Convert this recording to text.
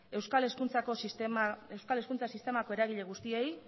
euskal hezkuntza sistemako eragile guztiei